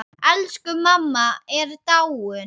Elsku mamma er dáin.